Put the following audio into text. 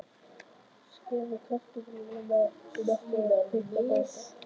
Skerðu kartöflurnar í nokkuð þykka báta.